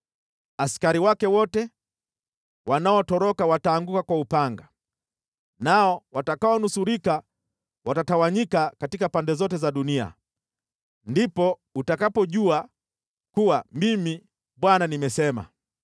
Askari wake wote wanaotoroka wataanguka kwa upanga, nao watakaonusurika watatawanyika katika pande zote za dunia. Ndipo utakapojua kuwa Mimi Bwana nimesema.